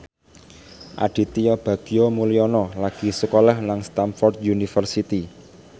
Aditya Bagja Mulyana lagi sekolah nang Stamford University